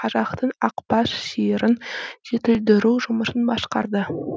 қазақтың ақбас сиырын жетілдіру жұмысын басқарды